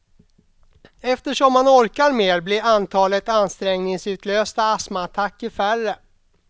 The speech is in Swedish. Eftersom man orkar mer blir antalet ansträngningsutlösta astmaattacker färre.